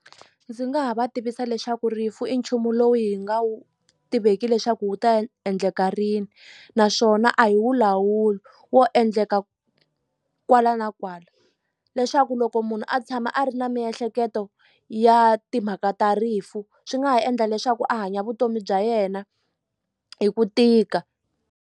Ndzi nga ha va tivisa leswaku rifu i nchumu lowu hi nga wu tiveki leswaku wu ta endleka rini naswona a hi wu lawuli wo endleka kwala na kwala leswaku loko munhu a tshama a ri na miehleketo ya timhaka ta rifu swi nga ha endla leswaku a hanya vutomi bya yena hi ku tika.